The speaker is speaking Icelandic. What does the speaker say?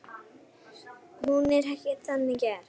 Hún er ekki þannig gerð.